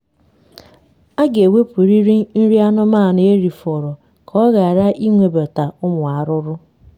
ịke nri ziri ểzi na ewepụ erijughị afọ ya na um okể um nri um nri